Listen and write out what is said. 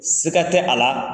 Siga tɛ a la